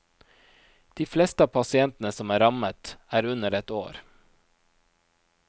De fleste av pasientene som er rammet, er under ett år.